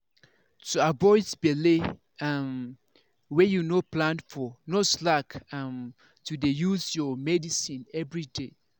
to avoid belle um wey you no plan for no slack um to dey use your medicines everyday.